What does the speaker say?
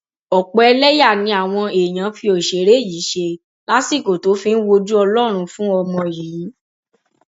ọpọ ẹlẹyà ni àwọn èèyàn fi òṣèré yìí ṣe lásìkò tó fi ń wojú ọlọrun fún ọmọ yìí